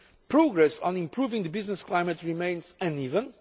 base progress on improving the business climate remains uneven